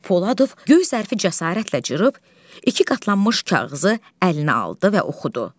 Poladov göy zərfi cəsarətlə cırıb, iki qatlanmış kağızı əlinə aldı və oxudu.